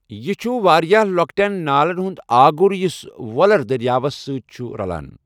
یہٕ چھُ واریاہ لوکٹٮ۪ن نالَن ہُند آگُر یُس ویلر دریاوَس سۭتۍ چھُ رَلان۔